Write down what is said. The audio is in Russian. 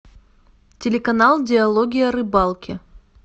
телеканал диалоги о рыбалке